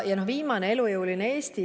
Ja viimane, elujõuline Eesti.